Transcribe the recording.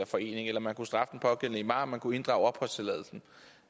forening eller man kunne straffe den pågældende imam man kunne inddrage opholdstilladelsen